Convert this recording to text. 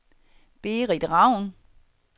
Berit Ravn